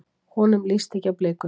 Honum líst ekki á blikuna.